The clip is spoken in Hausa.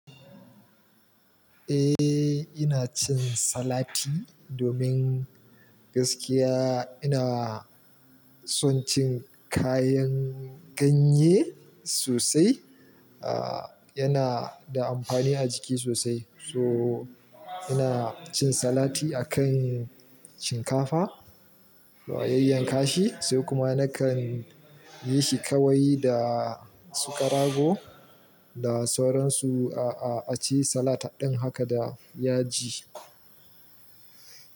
Eh ina cin salati domin gaskiya ina son cin kayan ganye sosai. Ah yana da amfani a jiki sosai. So ina cin salati akan shinkafa, to a yayyan ka shi sai kuma nakan yi shi kawai da su karago da sauransu. Ah, ah aci salat din haka da yaji.